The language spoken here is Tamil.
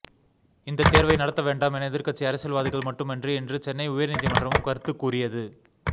இந்தத் தேர்வை நடத்த வேண்டாம் என எதிர்க்கட்சி அரசியல்வாதிகள் மட்டுமன்றி இன்று சென்னை உயர்நீதிமன்றமும் கருத்துக் கூறியது